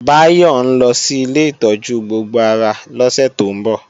Báyọ̀ ńlọ sí ilé ìtọ́jú gbogbo ara lọ́sẹ̀ tó ń bọ̀